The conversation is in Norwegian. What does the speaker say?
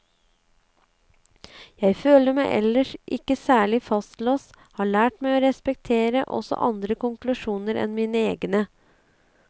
Jeg føler meg ellers ikke særlig fastlåst, har lært meg å respektere også andre konklusjoner enn mine egne.